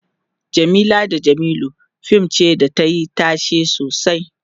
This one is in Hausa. Jamila da jamilu fim ce da tayi tashe sosai